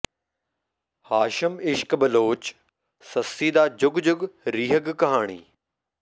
ਹਾਸ਼ਿਮ ਇਸ਼ਕ ਬਲੋਚ ਸੱਸੀ ਦਾ ਜੁੱਗ ਜੁੱਗ ਰੀਹਗ ਕਹਾਣੀ